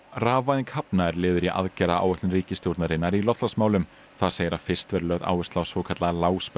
rafvæðing hafna er liður í aðgerðaáætlun ríkisstjórnarinnar í loftslagsmálum þar segir að fyrst verði lögð áhersla á svokallaða